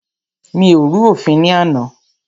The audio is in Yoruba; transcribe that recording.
Mi ò rú òfin ní àná.